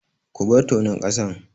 Ku bar tonon ƙasan!